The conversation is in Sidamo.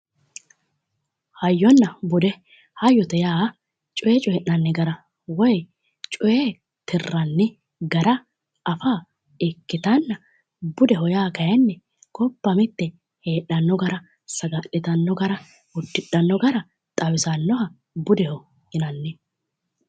Hayyonna bude. Hayyote yaa coye coyi'nanni gara woyi coye tirranni gara afa ikkite budeho yaa kayinni gobba mitte heedhanno gara, saga'litanno gara, uddidhanno gara xawisannoha budeho yinanni.